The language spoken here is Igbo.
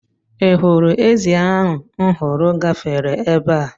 Ị hụrụ ezì ahụ m hụrụ gafere ebe a?